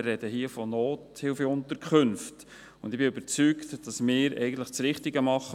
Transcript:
Wir sprechen hier von Nothilfeunterkünften, und ich bin überzeugt, dass wir für diese Leute eigentlich das Richtige tun.